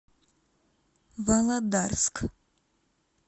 володарск